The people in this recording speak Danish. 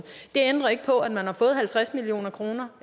det ændrer ikke på at man har fået halvtreds million kroner